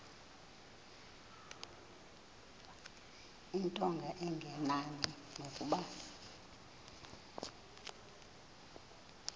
into engenani nokuba